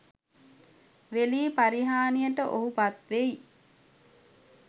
වෙලී පරිහානියට ඔහු පත්වෙයි.